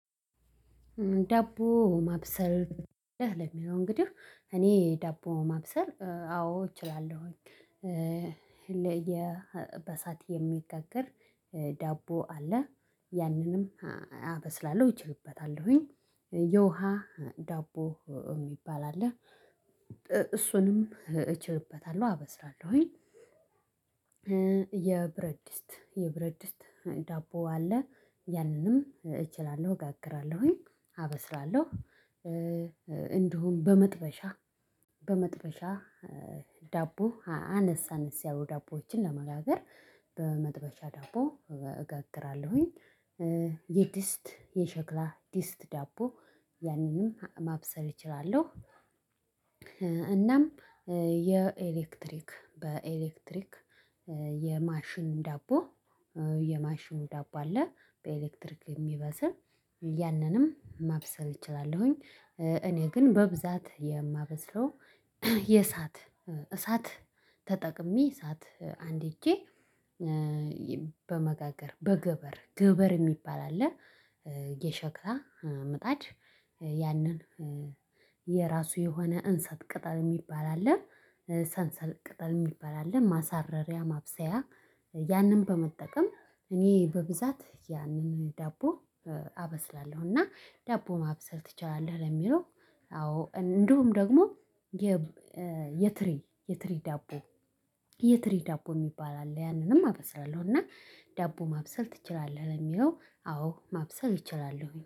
ዳቦ ማብሰል ለሚለው እንግዲህ እኔ ዳቦ ማብሰል አዎ እችላለሁኝ። የበእሳት የሚጋገር ዳቦ አለ ያንንም አበስላለሁ እችልበታለሁኝ። የውሃ ዳቦ የሚባል አለ እሱንም እችልበታለሁ አበስላለሁኝ። የብረድስት የብረድስት ዳቦ አለ ያንንም እችላለሁ እጋግራለሁኝ አበስላለሁ። እንዲሁም በመጥበሻ በመጥበሻ ዳቦ አነስ አነስ ያሉ ዳቦዎችን ለመጋገር በመጥበሻ ዳቦ እጋግራለሁኝ። የድስት የሸክላ ድስት ዳቦ ያንንም ማብሰል እችላለሁ። እናም የኤሌክትሪክ በኤሌክትሪክ የማሽን ዳቦ የማሽኑ ዳቦ አለ በኤሌክትሪክ የሚበስል ያንንም ማብሰል እችላለሁኝ። እኔ ግን በብዛት የማበስለው የእሳት እሳት ተጠቅሜ እሳት አንድጄ በመጋገር በገበር ገበር የሚባል አለ። የሸክላ ምጣድ ያንን የራሱ የሆነ እንሰት ቅጠል የሚባል አለ ሰንሰል ቅጠል የሚባል አለ ማሳረሪያ ማብሰያ ያንን በመጠቀም እኔ በብዛት ያንን ዳቦ አበስላለሁ። እና ዳቦ ማብሰል ትችላለህ ለሚለው? አዎ እንዲሁም ደግሞ የ የትሪ የትሪ ዳቦ የትሪ ዳቦ የሚባል አለ ያንንም አበሰላለሁ። እና ዳቦ ማብሰል ትችላለህ ለሚለው? አዎ ማብሰልር እችላሉ